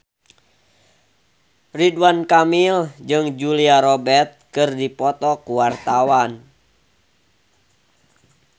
Ridwan Kamil jeung Julia Robert keur dipoto ku wartawan